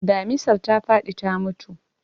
Damisar ta faɗi ta mutu.